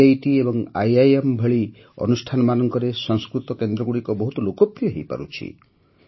IIT ଏବଂ IIM ଭଳି ଅନୁଷ୍ଠାନମାନଙ୍କରେ ସଂସ୍କୃତ କେନ୍ଦ୍ରଗୁଡ଼ିକ ବହୁତ ଲୋକପ୍ର୍ରିୟ ହୋଇପାରୁଛି